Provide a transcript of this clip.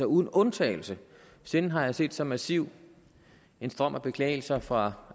uden undtagelse sjældent har jeg set så massiv en strøm af beklagelser fra